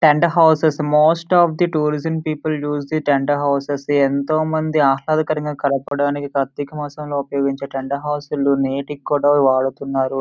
Tent houses most of the tourism people use the tent houses ఎంతోమంది ఆహ్లాదకరమైన గడపడానికి కార్తీకమాసం లో ఉపయోగించే టెంట్ హౌసెస్ నేటికి కూడా వాడుతున్నారు.